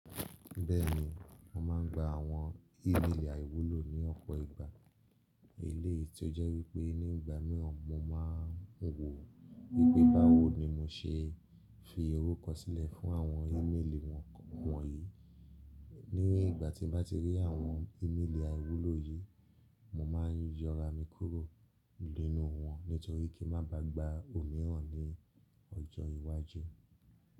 Bẹ́ẹ̀ni, mo máa ń gba àwọn ímélì àìwúlò ní ọ̀pọ̀ ìgbà. Eléyìí tí ó jẹ́ wípé ní ìgbà mìíràn mo máa ń wò wípé báwo ni mo ṣe fi orúkọ sílẹ̀ fún àwọn ímélì wọ̀nyí. Ní ìgbà tí mo bá ti rí àwọn ímélì àìwúlò yìí, mo máa ń yọra mi kúrò nínú wọn nítorí kí ń má ba à gba òmíràn ní ọjọ́ iwájú.